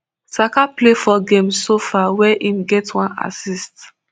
saka play four games so far wia im get one assist